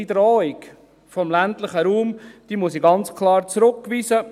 Die Drohung an den ländlichen Raum muss ich ganz klar zurückweisen.